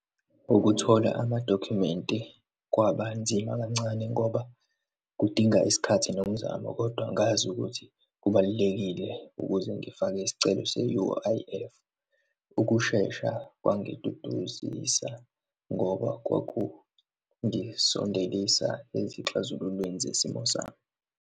Ukuthola amadokhumenti kwabanzima kancane ngoba kudinga isikhathi nomzamo. Kodwa ngazi ukuthi kubalulekile ukuze ngifake isicelo se-U_I_F. Ukushesha kwangiduduzisa ngoba kwakungisondelisa ezixazululweni zesimo sami.